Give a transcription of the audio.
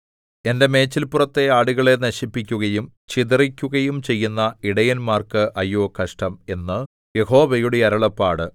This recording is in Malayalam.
എന്റെ മേച്ചിൽപ്പുറത്തെ ആടുകളെ നശിപ്പിക്കുകയും ചിതറിക്കുകയും ചെയ്യുന്ന ഇടയന്മാർക്ക് അയ്യോ കഷ്ടം എന്ന് യഹോവയുടെ അരുളപ്പാട്